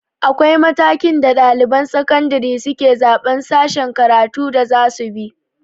Akwai matakin da ɗaliban sakandire suke zaɓan sashen karatun da zasu bi